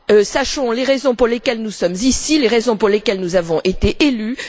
Sachons les raisons pour lesquelles nous sommes ici, les raisons pour lesquelles nous avons été élus.